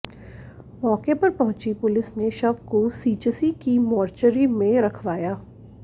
मौके पर पहुंची पुलिस ने शव को सीचसी की मोर्चरी में रखवाया